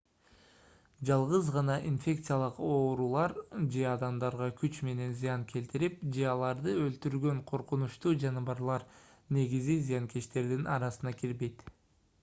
жалгыз гана инфекциялык оорулар же адамдарга күч менен зыян келтирип же аларды өлтүргөн коркунучтуу жаныбарлар негизи зыянкечтердин арасына кирбейт